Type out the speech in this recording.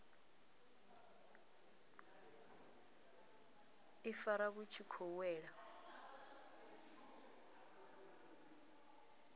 ifara vhu tshi khou wela